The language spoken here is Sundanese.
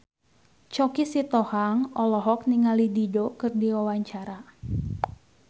Choky Sitohang olohok ningali Dido keur diwawancara